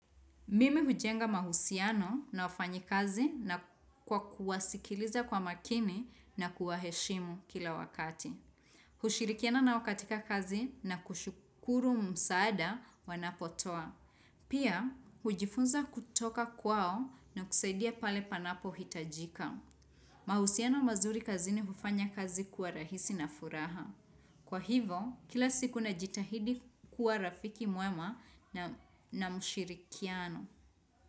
Mimi hujenga mahusiano na wafanyikazi na kwa kuwasikiliza kwa makini na kuwaheshimu kila wakati. Hushirikiana nao wakatika kazi na kushukuru msaada wanapotoa. Pia, hujifunza kutoka kwao na kusaidia pale panapo hitajika. Mahusiano mazuri kazini hufanya kazi kua rahisi na furaha. Kwa hivo, kila siku na jitahidi kua rafiki mwema na mshirikiano.